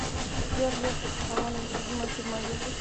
сбер лев аронович любимая фирма одежды